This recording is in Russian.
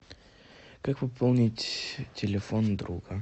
как пополнить телефон друга